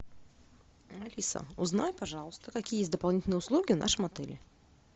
алиса узнай пожалуйста какие есть дополнительные услуги в нашем отеле